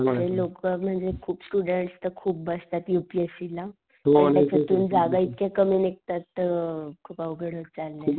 लोक म्हणजे खूप स्टुडन्ट तर खूप बसतात यू पी एस सी ला, त्याच्यातून जागा इतक्या कमी निघतात अ खूप अवघड होत चाललंय.